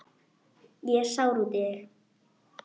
Ég er sár út í þig.